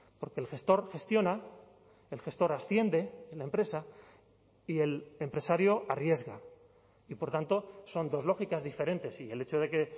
porque el gestor gestiona el gestor asciende en la empresa y el empresario arriesga y por tanto son dos lógicas diferentes y el hecho de que